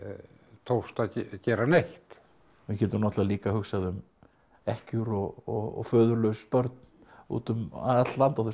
tókst að gera neitt við getum náttúrulega líka hugsað um ekkjur og föðurlaus börn út um allt land á þessum